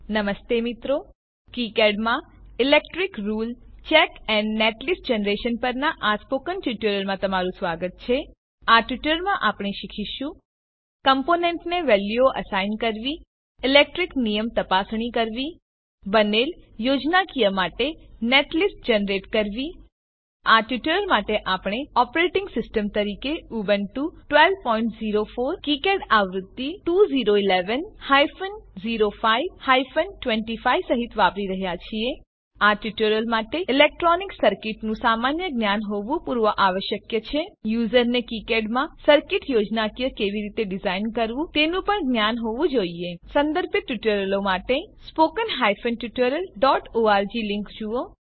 નમસ્તે મિત્રો કિકાડ માં electric rule check and netlist generation પરનાં સ્પોકન ટ્યુટોરીયલમાં સ્વાગત છે આ ટ્યુટોરીયલમાં આપણે શીખીશું કમ્પોનેન્ટને વેલ્યુઓ એસાઈન કરવી ઇલેક્ટ્રીક નિયમ તપાસણી કરવી બનેલ યોજનાકીય માટે નેટલિસ્ટ જનરેટ કરવી આ ટ્યુટોરીયલ માટે આપણે ઓપરેટીંગ સીસ્ટમ તરીકે ઉબુન્ટુ 1204 કીકેડ આવૃત્તિ 2011 હાયફન 05 હાયફન 25 સહીત વાપરી રહ્યા છીએ આ ટ્યુટોરીયલ માટે ઇલેક્ટ્રોનિક સર્કીટનું સામાન્ય જ્ઞાન હોવું પૂર્વાવશ્યક છે યુઝરને કીકેડમાં સર્કીટ યોજનાકીય કેવી રીતે ડીઝાઇન કરવું તેનું પણ જ્ઞાન હોવું જોઈએ સંદર્ભિત ટ્યુટોરીયલો માટે spoken tutorialઓર્ગ લીંક જુઓ